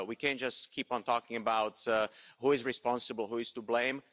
we can't just keep on talking about who is responsible, who is to blame.